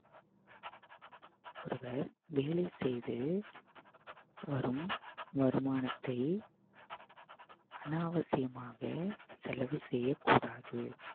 ஒருவர் வேலை செய்து வரும் வருமானத்தை அனாவசியமாக செலவு செய்யக் கூடாது